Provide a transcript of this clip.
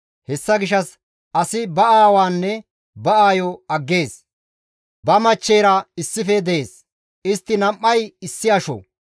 Hessa gishshas asi ba aawaanne ba aayo aggees; ba machcheyra issife dees; istti nam7ay issi asho.